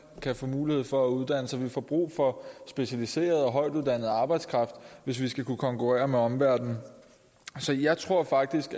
kan få mulighed for at uddanne sig vi får brug for specialiseret og højtuddannet arbejdskraft hvis vi skal kunne konkurrere med omverdenen så jeg tror faktisk